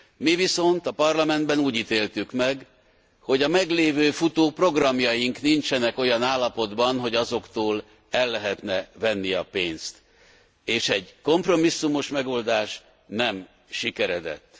Mi viszont a Parlamentben úgy ítéltük meg, hogy a meglévő futó programjaink nincsenek olyan állapotban, hogy azoktól el lehetne venni a pénzt, és egy kompromisszumos megoldás nem sikeredett.